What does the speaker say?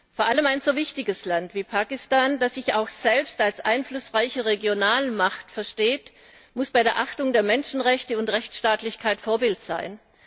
Vor allem ein so wichtiges Land wie Pakistan, das sich auch selbst als einflussreiche Regionalmacht versteht, muss bei der Achtung der Menschenrechte und der Rechtsstaatlichkeit Vorbild sein.